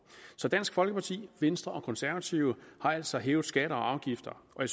så dansk folkeparti venstre og konservative har altså hævet skatter og afgifter og